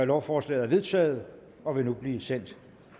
lovforslaget er vedtaget og vil nu blive sendt